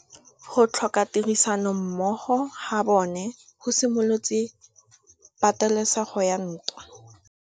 Go tlhoka tirsanommogo ga bone go simolotse patêlêsêgô ya ntwa.